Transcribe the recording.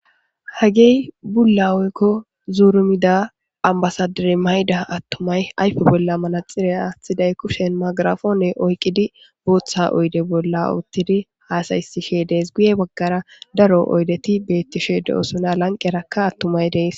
hagey bulla oykko zuurumida ambasadire mayda attumay ayfe bolla malaxire aathiday kushen magarafoone oykqidi booththa oyde bolla uttidi haasaysishe dees guye baggara daro oydeti beettishe de7osuna lanqerakka attumay dees